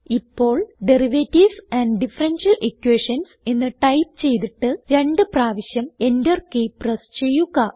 ഇപ്പോൾ derivatives and differential Equations എന്ന് type ചെയ്തിട്ട് രണ്ട് പ്രാവിശ്യം എന്റർ കീ പ്രസ് ചെയ്യുക